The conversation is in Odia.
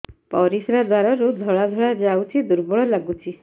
ପରିଶ୍ରା ଦ୍ୱାର ରୁ ଧଳା ଧଳା ଯାଉଚି ଦୁର୍ବଳ ଲାଗୁଚି